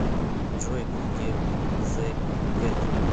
джой куки зэ кэт